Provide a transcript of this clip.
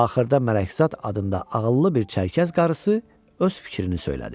Axırda Mələkzad adında ağıllı bir çərkəz qarısı öz fikrini söylədi.